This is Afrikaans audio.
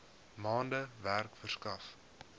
maande werk verskaf